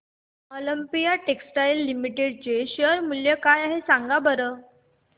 Olympia Textiles Limited चे share मूल्य काय आहे सांगा बरं